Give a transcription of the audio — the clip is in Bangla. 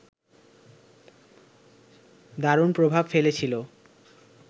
দারুণ প্রভাব ফেলেছিল